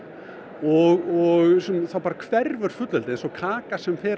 og þá bara hverfur fullveldið eins og kaka sem fer